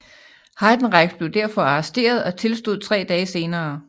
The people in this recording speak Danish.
Heidenreich blev derfor arresteret og tilstod tre dage senere